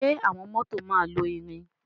Ṣe awọn mọto ma lọ irin?